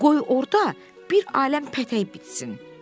Qoy orada bir aləm pətəyi bitsin.